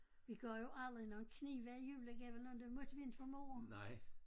Vi gav jo aldrig nogen knive i julegave eller andet det måtte vi inte for mor